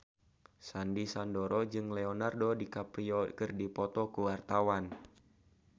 Sandy Sandoro jeung Leonardo DiCaprio keur dipoto ku wartawan